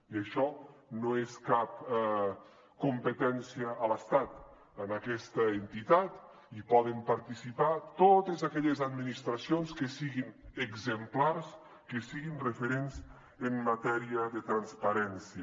i això no és cap competència a l’estat en aquesta entitat hi poden participar totes aquelles administracions que siguin exemplars que siguin referents en matèria de transparència